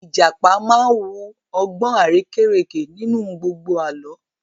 Ìjàpá máa wu ọgbọ́n arérekè nínú gbogbo Àlọ́